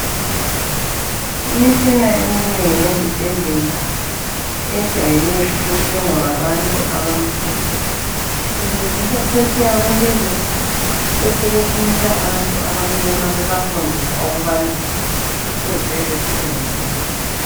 Imitshina eminengi ezibhedlela ejayele ukuthengwa ngabantu abamhlophe. Ilungiswa phetsheya kwelizwe. Besebethumela abantu abamnyama bebafundisa ukubana kufuze besebenzise njani.